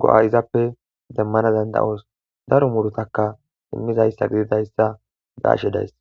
go7a izappe demmana danda7oos daro murutakka immizayssa gididayssa be ashe days